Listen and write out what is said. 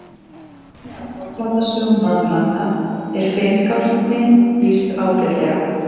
Í einni af fornaldarsögum Norðurlanda er finngálkni lýst ágætlega.